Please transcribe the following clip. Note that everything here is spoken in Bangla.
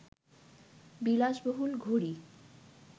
বিলাসবহুল ঘড়ি